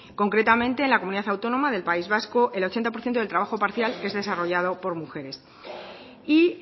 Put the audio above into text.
concretamente en la comunidad autónoma del país vasco el ochenta por ciento del trabajo parcial es desarrollado por mujeres y